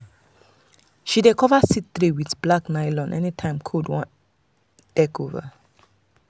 she dey cover seed tray with black nylon anytime cold wan take over.